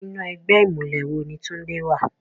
Inú ègbè imúlè wó ni Tunde wá?